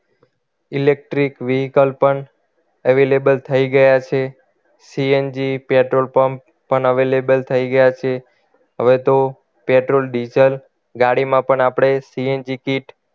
Electrical vehicle પણ available થઈ ગયા છે CNG પેટ્રોલ પંપ પણ available થઈ ગયા છે હવે તો પેટ્રોલ ડીઝલ ગાડીમાં પણ આપણે CNG kit